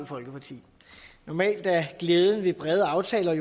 folkeparti normalt er glæden ved brede aftaler at